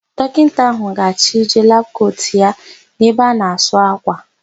Dọkịta áhụ̀ ga-achịje labụ kotu ya n'ebe a na-asụ ákwà.